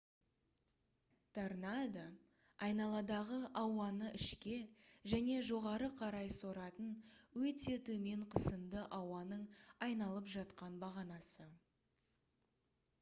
торнадо айналадағы ауаны ішке және жоғары қарай соратын өте төмен қысымды ауаның айналып жатқан бағанасы